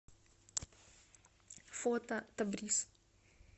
фото табрис